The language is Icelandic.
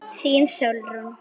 Þín Sólrún.